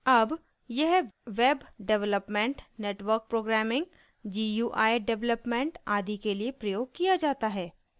अब यह web development network programming gui development आदि के लिए प्रयोग किया जाता है